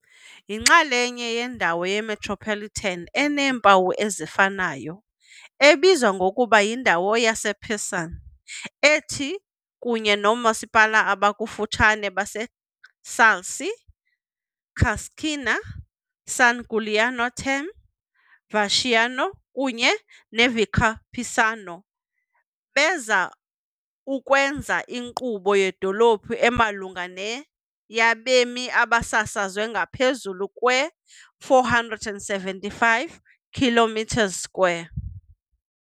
Yinxalenye yendawo yemetropolitan eneempawu ezifanayo, ebizwa ngokuba "yindawo yePisan", ethi kunye noomasipala abakufutshane baseCalci, Cascina, San Giuliano Terme, Vecchiano kunye neVicopisano, beza ukwenza inkqubo yedolophu emalunga ne-yabemi abasasazwe ngaphezulu kwe-475 km2.